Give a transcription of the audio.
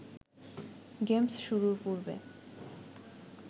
games শুরুর পূর্বে